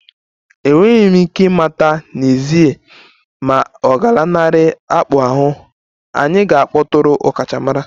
Enweghị m ike ịmata n'ezie ma ọ ga-alanarị akpụ ahụ, anyị ga-akpọtụrụ ọkachamara